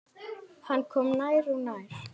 Hann kom nær og nær.